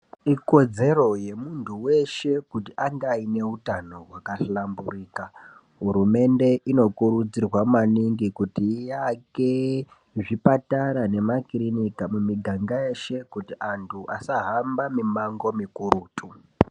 Ikodzero yemuntu weshe kuti ange aine neutano hwakahlamburika. Hurumende inokurudzirwa maningi kuti ivake zvipatara nemakirinika mumiganga yeshe kuti antu asahamba mimango mikurutu.